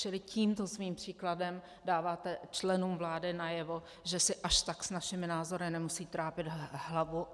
Čili tímto svým příkladem dáváte členům vlády najevo, že si až tak s našimi názory nemusí trápit hlavu.